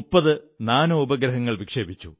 30 nano ഉപഗ്രഹങ്ങൾ വിക്ഷേപിച്ചു